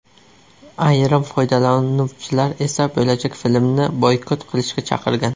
Ayrim foydalanuvchilar esa bo‘lajak filmni boykot qilishga chaqirgan.